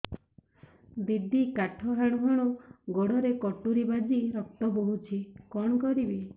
ଦିଦି କାଠ ହାଣୁ ହାଣୁ ଗୋଡରେ କଟୁରୀ ବାଜି ରକ୍ତ ବୋହୁଛି କଣ କରିବି